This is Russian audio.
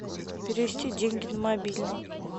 перевести деньги на мобильный